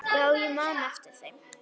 Já, ég man eftir þeim.